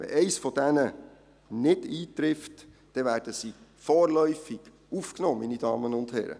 Wenn einer dieser Punkte der Fall ist, werden sie vorläufig aufgenommen, meine Damen und Herren.